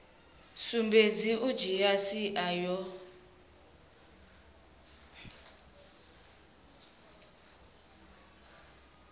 sumbedzi u dzhia sia yo